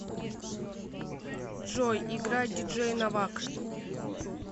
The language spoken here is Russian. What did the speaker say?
джой играй диджей новак